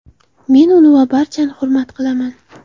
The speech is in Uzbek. Men uni va barchani hurmat qilaman.